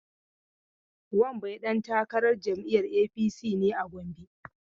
Wambai dan takarar jam'iyyar APC ne a Gombe.